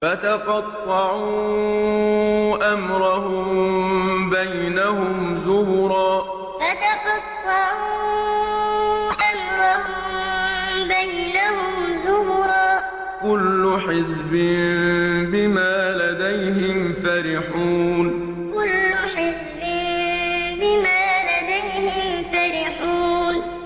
فَتَقَطَّعُوا أَمْرَهُم بَيْنَهُمْ زُبُرًا ۖ كُلُّ حِزْبٍ بِمَا لَدَيْهِمْ فَرِحُونَ فَتَقَطَّعُوا أَمْرَهُم بَيْنَهُمْ زُبُرًا ۖ كُلُّ حِزْبٍ بِمَا لَدَيْهِمْ فَرِحُونَ